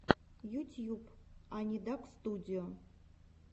ютьюб анидакстудио